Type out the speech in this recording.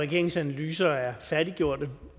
regeringens analyser er færdiggjorte